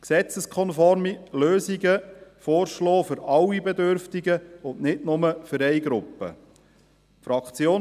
Es müssen gesetzeskonforme Lösungen für alle Bedürftigen – und nicht nur für eine Gruppe – vorgeschlagen werden.